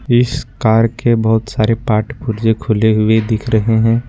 इस कार के बहुत सारे पार्ट पुर्जे खुले हुए दिख रहे हैं।